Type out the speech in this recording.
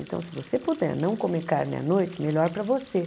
Então se você puder não comer carne à noite, melhor para você.